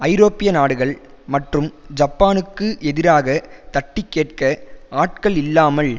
ஐரோப்பிய நாடுகள் மற்றும் ஜப்பானுக்கு எதிராக தட்டி கேட்க ஆட்கள் இல்லாமல்